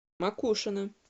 макушино